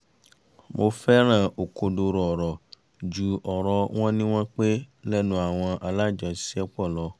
mo fẹ́ràn òkodoro ọ̀rọ̀ ju ọ̀rọ̀ wọ́n ní wọ́n pé lẹ́nu àwọn alájọṣiṣẹ́pọ̀ lọ